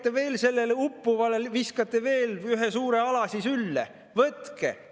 Te viskate sellele uppujale veel ühe suure alasi sülle: "Võtke!